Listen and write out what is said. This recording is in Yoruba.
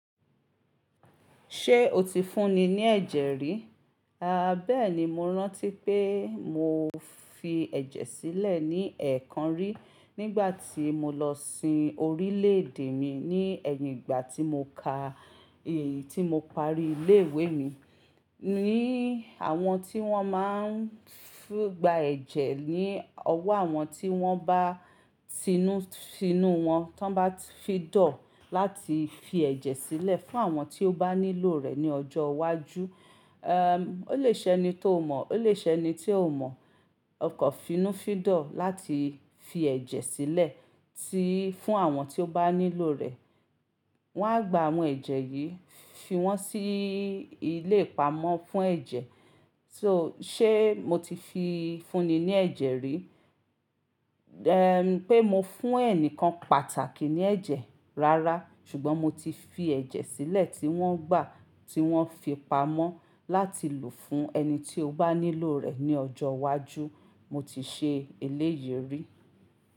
Ṣé o ti fúnni ní ẹ̀jẹ̀ rí? Haa bẹ́ẹ̀ni, mo rántí pé mo fi ẹ̀jẹ̀ sílẹ̀ ní ẹ̀ẹ̀kan rí nígbà tí mo lọ sin orílẹ̀ èdè mi ní ẹ̀yìn igba tí mo parí ilé ìwé mi. Ni àwọn tí wọ́n má ń gba ẹ̀jẹ̀ ní ọwọ́ àwọn tí wọ́n bá fi tinú, tinú wọn, tí wọ́n bá fídọ̀ láti fi ẹ̀jẹ̀ sílẹ̀ fún àwọn tí ó bá nílò rẹ̀ ní ọjọ́ iwájú. Ehn, ó lè ṣẹni tó mọ̀, ó lè ṣẹni tí óo mọ̀. Okan finú fídọ̀ láti fi ẹ̀jẹ̀ sílẹ̀, fún àwọn tí ó bá nílò rẹ̀. Wọ́n á gba àwọn ẹ̀jẹ̀ yìí, fi wọ́n sí ilé ìpamọ́ fún ẹ̀jẹ̀. Se mo ti fúnni ní ẹ̀jẹ̀ rí? Ehn, pé mo fún ẹnìkan pàtàkì ní ẹ̀jẹ̀ rárá. Ṣùgbọ́n mo ti fi ẹ̀jẹ̀ sílẹ̀ tí wọ́n gbà tí wọ́n fi pamọ́ láti lò fún ẹni tí ó bá nílò rẹ̀ ní ọjọ́ iwájú. Mo ti ṣe eléyìí rí.